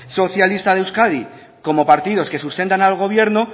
socialista de euskadi como partidos que sustentan al gobierno